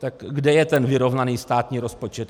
Tak kde je ten vyrovnaný státní rozpočet?